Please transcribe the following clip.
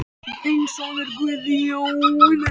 Þinn sonur Guðjón.